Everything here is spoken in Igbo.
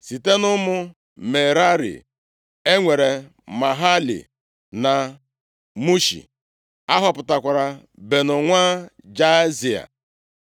Site nʼụmụ Merari e nwere Mahali na Mushi. A họpụtakwara Beno nwa Jaazia.